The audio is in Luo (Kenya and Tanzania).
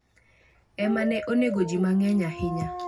e mane onego ji mang’eny ahinya.